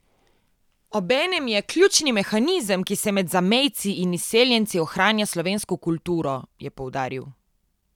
Obenem je ključni mehanizem, ki med zamejci in izseljenci ohranja slovensko kulturo, je poudaril.